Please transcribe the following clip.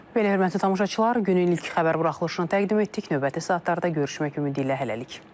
Belə hörmətli tamaşaçılar, günün ilk xəbər buraxılışını təqdim etdik, növbəti saatlarda görüşmək ümidi ilə hələlik.